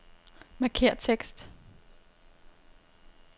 Markér tekst.